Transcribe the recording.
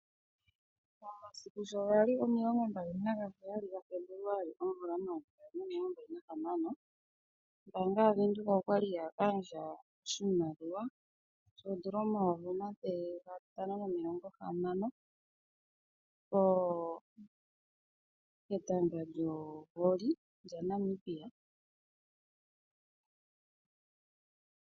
Momasiku sho gali omilongo mbali nagaheyali gaFebuluali momayovi gaali nomilongo mbali nahamano , ombaanga yaVenduka okwali ya gandja oshimaliwa shoondola omayovi omathele gatano nomilongo hamano , ketanga lyokoonyala ndyoka hali ithanwa Volleyball lyaNamibia .